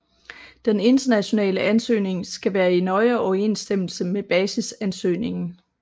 Den internationale ansøgning skal være i nøje overensstemmelse med basisansøgningen